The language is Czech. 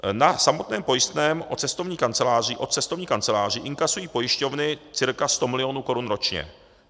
Na samotném pojistném od cestovních kanceláří inkasují pojišťovny cca 100 milionů korun ročně.